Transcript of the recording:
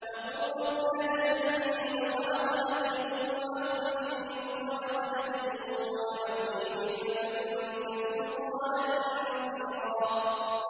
وَقُل رَّبِّ أَدْخِلْنِي مُدْخَلَ صِدْقٍ وَأَخْرِجْنِي مُخْرَجَ صِدْقٍ وَاجْعَل لِّي مِن لَّدُنكَ سُلْطَانًا نَّصِيرًا